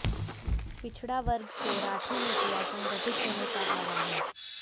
पिछड़ा वर्ग से राठी ने किया संगठित होने का आह्वान